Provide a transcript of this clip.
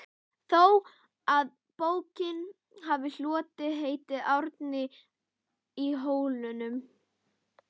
þó að bókin hafi hlotið heitið Árni í Hólminum.